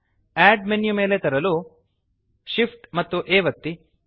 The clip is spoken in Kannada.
ಅಡ್ ಮೆನ್ಯು ಮೇಲೆ ತರಲು Shift ಆ್ಯಂಪ್ A ಒತ್ತಿ